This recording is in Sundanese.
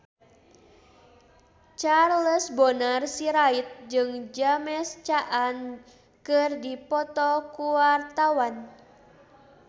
Charles Bonar Sirait jeung James Caan keur dipoto ku wartawan